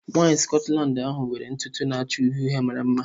Nwanyị Scotland ahụ nwere ntutu na-acha uhie uhie mara mma.